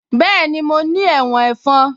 Bẹ́ẹ̀ni mo ní ẹ̀wọ̀n ẹ̀fọn